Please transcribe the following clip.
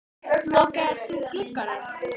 Og svo þagna þeir ekki þótt þeir sofi.